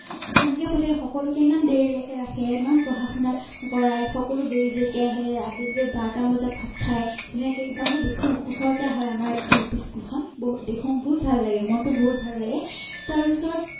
তেনেকে পঠিয়াই সকলোকে ইমান দেৰিলেকে ৰাখে ইমান পঢ়া শুনা কৰাই সকলো দেৰি দেৰিকে আহে আবেলি বাৰতা বজাত ভাত খাই মই দেখো ওচৰতে হয় আমাৰ Lp school তখন দেখো বহুত ভাল লাগে মনটো বহুত ভাল লাগে তাৰ পিছত